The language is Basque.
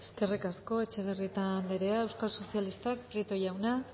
eskerrik asko etxebarrieta anderea euskal sozialistak prieto jauna